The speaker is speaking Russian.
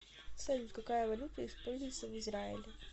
салют какая валюта используется в израиле